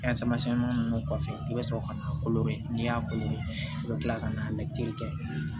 ninnu kɔfɛ i bɛ sɔrɔ ka na koro n'i y'a ko i bɛ kila ka na kɛ